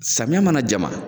Samiya mana jama